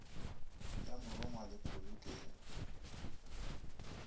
ya morongwa le pholo ke